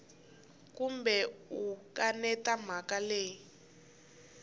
kumbe u kaneta mhaka leyi